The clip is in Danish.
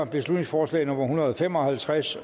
beslutningsforslag nummer hundrede og fem og halvtreds